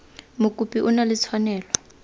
mokopi o na le tshwanelo